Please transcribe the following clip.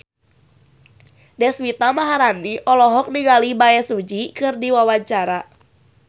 Deswita Maharani olohok ningali Bae Su Ji keur diwawancara